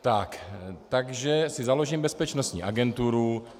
Takže si založím bezpečnostní agenturu.